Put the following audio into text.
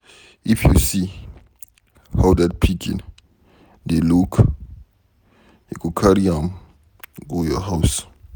If you see how dat pikin dey look, you go carry am go your house.